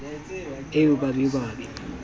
eo ba be ba be